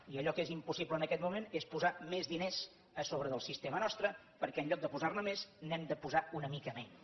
i allò que és impossible en aquest moment és posar més diners a sobre del sistema nostre perquè en lloc de posar ne més n’hem de posar una mica menys